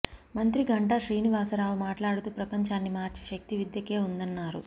మంత్రి గంటా శ్రీనివాసరావు మాట్లాడుతూ ప్రపంచాన్ని మార్చే శక్తి విద్యకే ఉందన్నారు